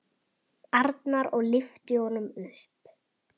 Arnar og lyfti honum upp.